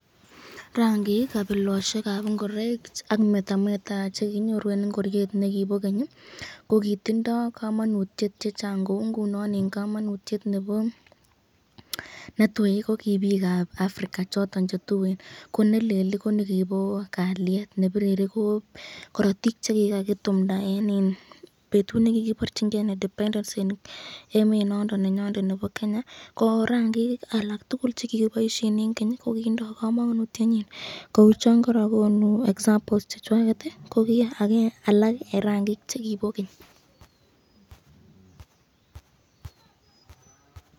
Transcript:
Rangik kabilosyekab ingoraik ak metameta kenyorun eng ingoryt nebo ken